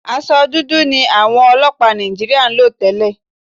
Aṣọ dúdú ni àwọn ọlọ́pàá Nàìjííríà ń lò tẹ́lẹ̀